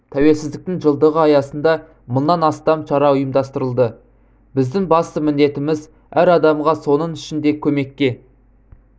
тәуелсіздіктің жылдығы аясында мыңнан астам шара ұйымдастырылды біздің басты міндетіміз әр адамға соның ішінде көмеккке